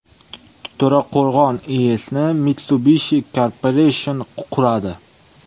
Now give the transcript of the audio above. To‘raqo‘rg‘on IESni Mitsubishi Corporation quradi.